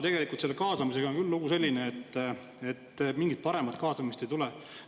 Aga kaasamisega on küll lugu selline, et mingit paremat kaasamist ei tule.